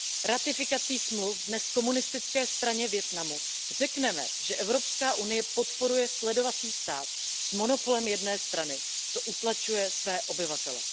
Ratifikací smluv dnes komunistické straně Vietnamu řekneme, že EU podporuje sledovací stát s monopolem jedné strany, který utlačuje své obyvatele.